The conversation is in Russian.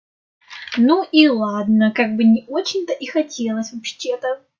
ну и ладно как бы не очень то и хотелось вообще-то